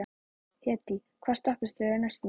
Hedí, hvaða stoppistöð er næst mér?